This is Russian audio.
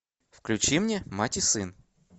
включи мне мать и сын